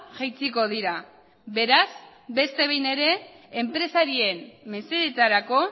jaitsiko dira beraz beste behin ere enpresarien mesedetarako